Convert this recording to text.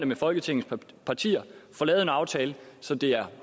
med folketingets partier og får lavet en aftale så det er